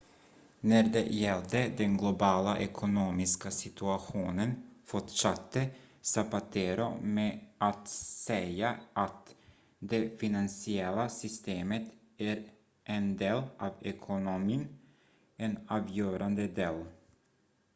"när det gällde den globala ekonomiska situationen fortsatte zapatero med att säga att "det finansiella systemet är en del av ekonomin en avgörande del.